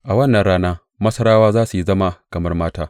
A wannan rana Masarawa za su zama kamar mata.